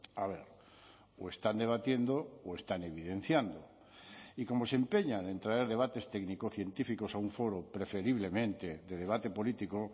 a ver o están debatiendo o están evidenciando y como se empeñan en traer debates técnico científicos a un foro preferiblemente de debate político